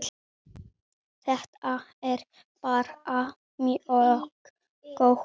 Þetta er bara mjög gott.